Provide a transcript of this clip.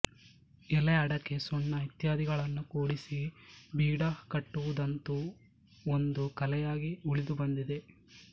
ಎಲೆ ಅಡಕೆ ಸುಣ್ಣ ಇತ್ಯಾದಿಗಳನ್ನು ಕೂಡಿಸಿ ಬೀಡ ಕಟ್ಟುವುದಂತೂ ಒಂದು ಕಲೆಯಾಗಿ ಉಳಿದುಬಂದಿದೆ